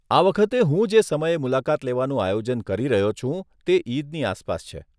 આ વખતે હું જે સમયે મુલાકાત લેવાનું આયોજન કરી રહ્યો છું તે ઈદની આસપાસ છે.